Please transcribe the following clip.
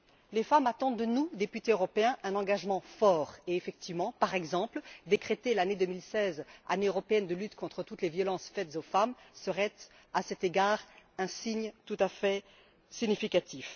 Les femmes attendent de nous, députés européens, un engagement fort, et effectivement, par exemple, décréter l'année 2016 Année européenne de lutte contre toutes les violences faites aux femmes serait à cet égard un signe tout à fait significatif.